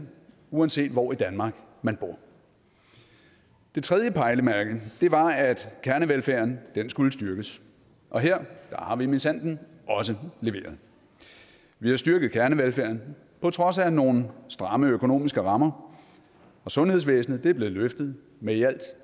uanset hvor i danmark man bor det tredje pejlemærke var at kernevelfærden skulle styrkes og her har vi minsandten også leveret vi har styrket kernevelfærden på trods af nogle stramme økonomiske rammer og sundhedsvæsenet er blevet løftet med i alt